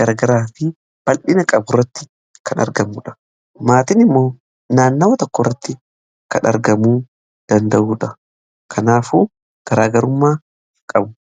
gara garaa fi bal'ina qaburratti kan argamudha. Maatiin immoo naannawwa tokko irratti kan argamuu danda'udha. Kanaafuu garaagarummaa qabu.